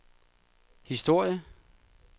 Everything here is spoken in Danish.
historie